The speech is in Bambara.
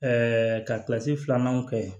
ka kilasi filanan kɛ ye